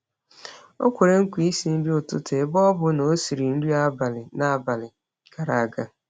Ọ kwere nkwa isi nri ụtụtụ ebe ọ bụ na ọ siri nri abalị n’abalị gara aga.